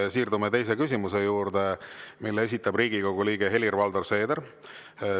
Siirdume teise küsimuse juurde, mille esitab Riigikogu liige Helir-Valdor Seeder.